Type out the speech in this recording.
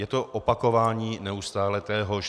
Je to opakování neustále téhož.